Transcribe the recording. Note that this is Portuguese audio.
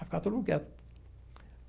Aí ficava todo mundo quieto.